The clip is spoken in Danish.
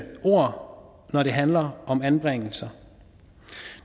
ord når det handler om anbringelser